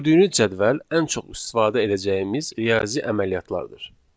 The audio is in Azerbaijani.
Gördüyünüz cədvəl ən çox istifadə edəcəyimiz riyazi əməliyyatlardır.